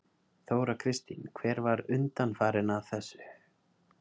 Þóra Kristín: Hver var undanfarinn að þessu?